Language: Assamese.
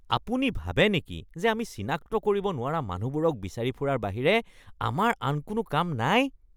আপুনি ভাবে নেকি যে আমি চিনাক্ত কৰিব নোৱাৰা মানুহবোৰক বিচাৰি ফুৰাৰ বাহিৰে আমাৰ আন কোনো কাম নাই? (পুলিচ)